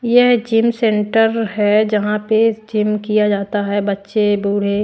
यह gym centre है जहां पे जिम किया जाता है बच्चे बूढ़े --